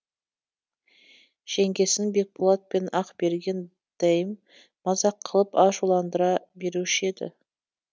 жеңгесін бекболат пен ақберген дәйім мазақ қылып ашуландыра беруші еді